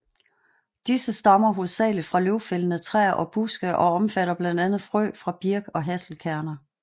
Disse stammer hovedsageligt fra løvfældende træer og buske og omfatter blandt andet frø fra birk og hasselkerner